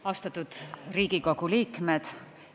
Austatud Riigikogu liikmed!